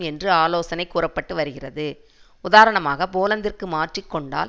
என்று ஆலோசனை கூற பட்டு வருகிறது உதாரணமாக போலந்திற்கு மாற்றி கொண்டால்